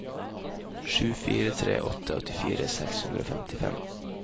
sju fire tre åtte åttifire seks hundre og femtifem